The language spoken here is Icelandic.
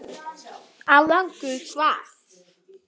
Árangur hvað?